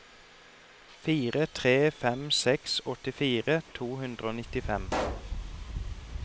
fire tre fem seks åttifire to hundre og nittifem